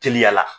Teliya la